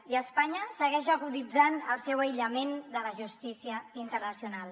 i espanya segueix aguditzant el seu aïllament de la justícia internacional